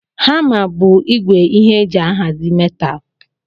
Hama bu igwe ihe eji ahazi metal